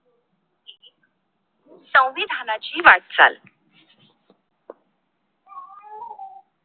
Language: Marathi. संविधानाची वाटचाल